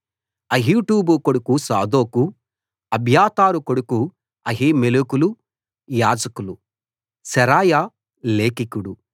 అహీటూబు కొడుకు సాదోకు అబ్యాతారు కొడుకు అహీమెలెకులు యాజకులు శెరాయా లేఖికుడు